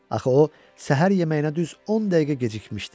Axı o səhər yeməyinə düz 10 dəqiqə gecikmişdi.